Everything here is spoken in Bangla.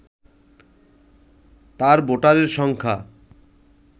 তার ভোটারের সংখ্যা